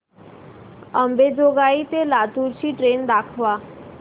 अंबेजोगाई ते लातूर ची ट्रेन दाखवा